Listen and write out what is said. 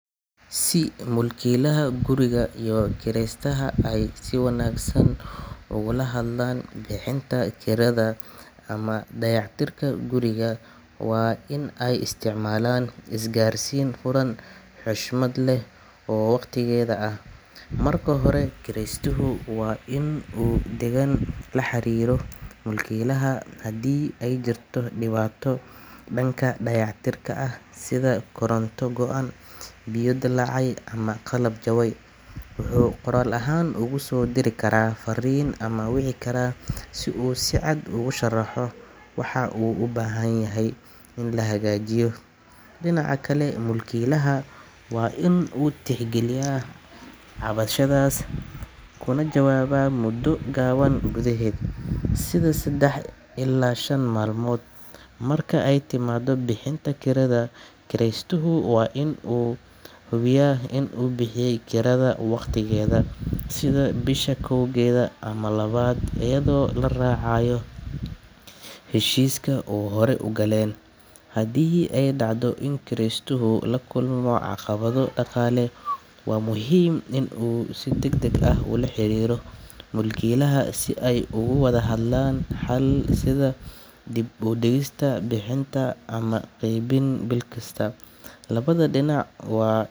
Si mulkiilaha guriga iyo kiraystaha ay si wanaagsan ugala hadlaan bixinta kirada ama dayactirka guriga, waa in ay isticmaalaan isgaarsiin furan, xushmad leh oo waqtigeeda ah. Marka hore, kiraystuhu waa in uu si degan ula xiriiro mulkiilaha haddii ay jirto dhibaato dhanka dayactirka ah, sida koronto go’an, biyo dillaacay ama qalab jabay. Wuxuu qoraal ahaan ugu soo diri karaa fariin ama wici karaa si uu si cad ugu sharaxo waxa u baahan in la hagaajiyo. Dhinaca kale, mulkiilaha waa inuu tixgeliyaa cabashadaas kana jawaabaa muddo gaaban gudaheed, sida saddex ilaa shan maalmood. Marka ay timaado bixinta kirada, kiraystuhu waa inuu hubiyaa in uu bixiyo kirada waqtigeeda, sida bisha kowdeeda ama labaad, iyadoo la raacayo heshiiska ay horey u galeen. Haddii ay dhacdo in uu kiraystuhu la kulmo caqabado dhaqaale, waa muhiim in uu si degdeg ah ula xiriiro mulkiilaha si ay uga wada hadlaan xal, sida dib u dhigista bixinta ama qaybin bil kasta. Labada dhinac waa.